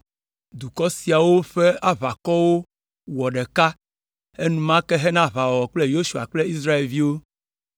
Dukɔ siawo ƒe aʋakɔwo wɔ ɖeka enumake hena aʋawɔwɔ kple Yosua kple Israelviwo.